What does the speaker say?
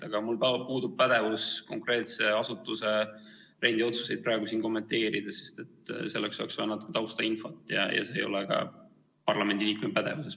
Aga mul puudub pädevus konkreetse asutuse rendiotsuseid praegu siin kommenteerida, sest selleks oleks vaja natuke taustainfot ja see ei ole ka päris parlamendiliikme pädevuses.